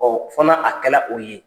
Ɔn fo na a kɛ la o ye.